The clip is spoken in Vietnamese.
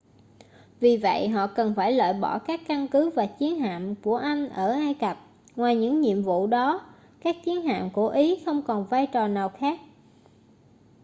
vì vậy họ cần phải loại bỏ các căn cứ và chiến hạm của anh ở ai cập ngoài những nhiệm vụ đó các chiến hạm của ý không còn vai trò nào khác